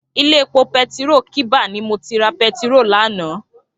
Ilé épó pétiró kiba ni mó ti rá pètiró làná